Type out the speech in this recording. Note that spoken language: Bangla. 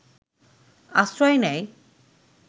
আশ্রয় নেয়